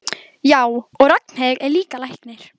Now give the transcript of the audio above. Já, og Ragnhildur er líka læknir.